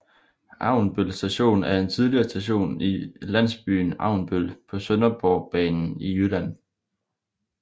Avnbøl Station er en tidligere station i landsbyen Avnbøl på Sønderborgbanen i Jylland